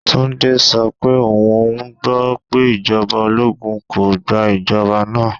Tunde so pe oun gbo pe ijọba ologun ko gba ijọba naa.